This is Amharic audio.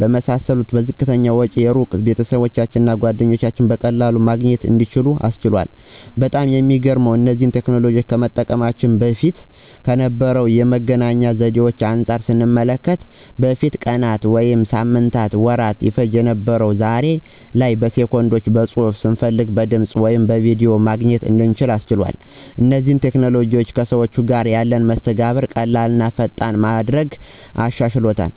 በመሳሰሉት በዝቅተኛ ወጪ የሩቅ ቤተሰባቸውን እና ጓደኞቻቸውን በቀላሉ ማግኘት እንዲችሉ አስችሏል። በጣም የሚገርመው እነዚህ ቴክኖሎጂዎች ከመምጣታቸው በፊት ከነበሩ የመገናኛ ዘዴዎች አንጻር ስንመለከተው በፊት ቀናት ወይም ሳምንታትና ወራት ይፈጅ የነበረው ዛሬ ላይ በሰከንዶች በፅሁፍ፣ ስንፈልግ በድምፅ ወይም በቪድዮ መገናኘት እንድንችል አስችሏል። እነዚህ ቴክኖሎጂዎችም ከሰዎች ጋር ያለንን መስተጋብር ቀላል ቀላልና ፈጣን በማድረግ አሻሽሎታል።